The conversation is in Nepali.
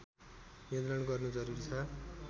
नियन्त्रण गर्नु जरुरी छ